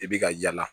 I bi ka yala